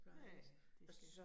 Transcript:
Ja ja det